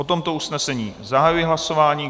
O tomto usnesení zahajuji hlasování.